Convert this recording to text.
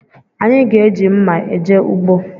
Anyị ga-eji mma eje ugbo